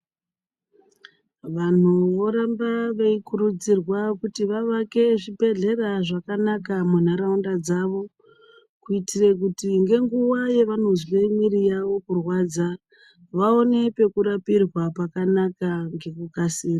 Vanhu vanoramba veikurudzirwa kuti vavake zvibhedhlera zvakanaka mundaramo dzawo kuitira kuti ngenguwa yavanozwa mumwiri yawo kurwadza vaone pekurapirwa pakanaka ngekukasira.